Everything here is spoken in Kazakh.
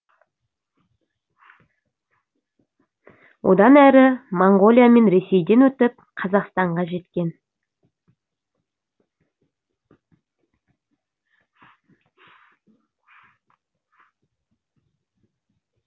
одан әрі моңғолия мен ресейден өтіп қазақстанға жеткен